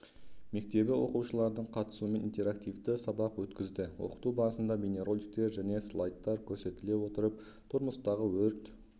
мектебі оқушыларының қатысуымен интерактивті сабақ өткізді оқыту барысында бейнероликтер және слайдтар көрсетіле отырып тұрмыстағы өрт